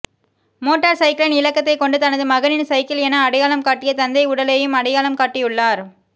motor சைக்கிளின் இலக்கத்தை கொண்டு தனது மகனின் சைக்கிள் என அடையாளம் காட்டிய தந்தை உடலையும் அடையாளம் காட்டியுள்ளார்